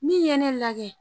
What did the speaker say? Min ye ne lagɛ.